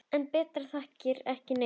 En Petra þakkar ekki neinum.